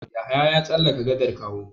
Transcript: Yahaya ya tsallaka gadar Kawo.